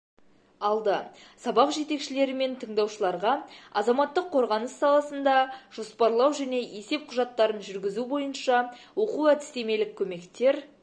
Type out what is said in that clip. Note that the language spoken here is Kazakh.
алды сабақ жетекшілерімен тыңдаушыларға азаматтық қорғаныс саласында жоспарлау және есеп құжаттарын жүргізу бойынша оқу-әдістемелік көмектер